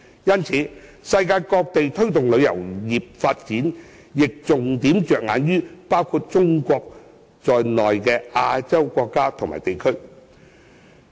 因此，世界各地推動旅遊業發展，亦會重點着眼於包括中國在內的亞洲國家和地區。